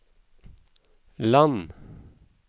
land